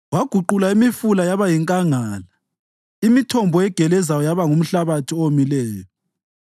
Waguqula imifula yaba yinkangala, imithombo egelezayo yaba ngumhlabathi owomileyo,